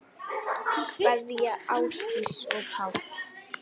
Kveðja Ásdís og Páll.